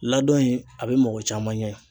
Ladɔn in a be mɔgɔ caman ɲɛ